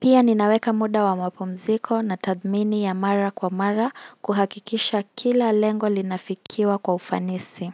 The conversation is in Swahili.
Pia, ninaweka muda wa mapumziko na tadhmini ya mara kwa mara kuhakikisha kila lengo linafikiwa kwa ufanisi.